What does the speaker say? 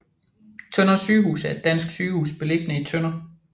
Tønder Sygehus er et dansk sygehus beliggende i Tønder